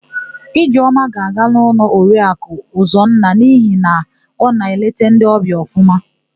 Ijeọma ga-aga n'ụlọ Oriaku Ụzọnna n'ihi na ọ na-eleta ndị ọbịa ọfụma.